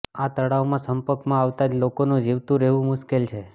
આ તળાવમાં સંપર્કમાં આવતા જ લોકોનું જીવતું રહેવું મુશ્કેલ છે